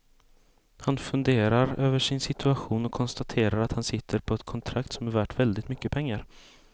Han funderar över sin situation och konstaterar att han sitter på ett kontrakt som är värt väldigt mycket pengar.